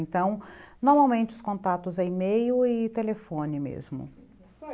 Então, normalmente os contatos é e-mail e telefone mesmo.